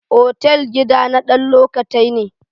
Otal gida na dan lokatai ne.